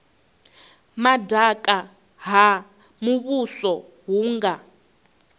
madaka ha muvhuso hu nga